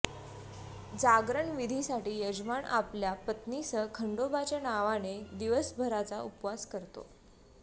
जागरण विधीसाठी यजमान आपल्या पत्नीसह खंडोबाच्या नावाने दिवसभराचा उपवास करतो